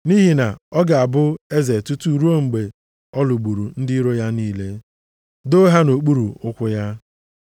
Nʼihi na ọ ga-abụ eze tutu ruo mgbe ọ lụgburu ndị iro ya niile, doo ha nʼokpuru ụkwụ ya.